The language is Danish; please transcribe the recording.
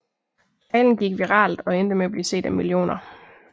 Talen gik viralt og endte med at blive set af millioner